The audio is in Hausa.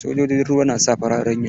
Sojojin ruwa na sa farar uniform.